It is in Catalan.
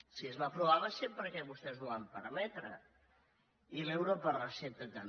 si es va aprovar va ser perquè vostès ho van permetre i l’euro per recepta també